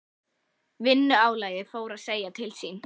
Vinnuálagið fór að segja til sín.